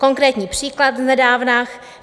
Konkrétní příklad z nedávna.